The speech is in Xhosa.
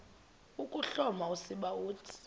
ukuhloma usiba uthi